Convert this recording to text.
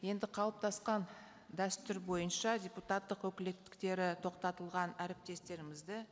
енді қалыптасқан дәстүр бойынша депутаттық өкілеттіктері тоқтатылған әріптестерімізді